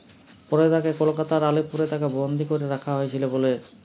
পরে তাকে কলকাতার আলীপুরে তাকে বন্দী করে রাখা হয়েছিল বলে